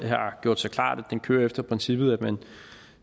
har gjort sig klart at det kører efter princippet at man